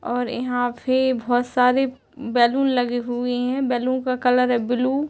और यहाँ पे बहोत सारे बैलून लगे हुए हैं बैलून का कलर है ब्लू ।